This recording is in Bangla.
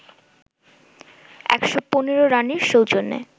১১৫ রানের সৌজন্যে